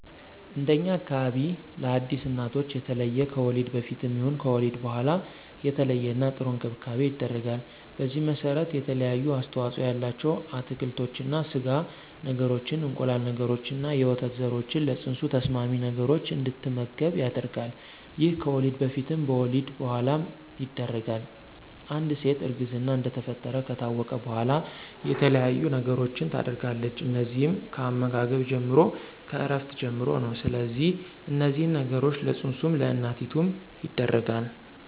እንደኛ አካባቢ ለአዲስ እናቶች የተለየ ከወሊድ በፊትም ይሁን ከወሊድ በኋላ የተለየና ጥሩ እንክብካቤ ይደረጋል። በዚህም መሰረት የተለያዩ አስተዋፅኦ ያላቸው አትክልቶችን፣ ስጋ ነገሮችን፣ እንቁላል ነገሮችንና የወተት ዘሮችን ለፅንሱ ተስማሚ ነገሮች እንድትመገብ ይደረጋል ይሄም ከወሊድ በፊትም በወሊድ በኋላም ይደረጋል፣ አንድ ሴት እርግዝና እንደተፈጠረ ከታወቀ በኋላ የተለያየ ነገሮችን ታደርጋለች እነዚህም ከአመጋገብ ጀምሮ፣ ከእረፍት ጀምሮ ነው ስለዚህ እነዚህን ነገሮች ለፅንሱም ለእናቲቱም ይደረጋል።